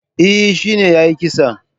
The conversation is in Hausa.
Eh, shine yayi kisan